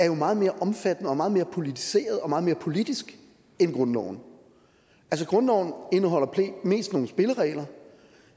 er meget mere omfattende meget mere politiseret og meget mere politisk end grundloven grundloven indeholder mest nogle spilleregler